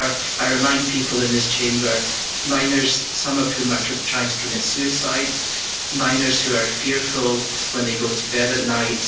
These are, I remind people in this Chamber, minors, some of whom are trying to commit suicide, minors who are fearful when they go to bed at night.